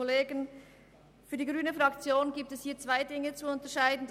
Für die grüne Fraktion gilt es zwei Dinge zu unterscheiden.